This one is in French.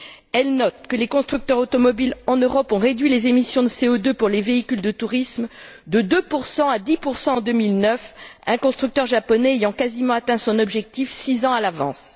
Elle note que les constructeurs automobiles en Europe ont réduit les émissions de CO2 pour les véhicules de tourisme de 2 à 10 en 2009, un constructeur japonais ayant quasiment atteint son objectif six ans à l'avance.